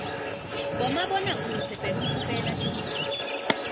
bomabona kudze bekubukela tindzaba